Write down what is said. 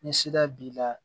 Ni sira b'i la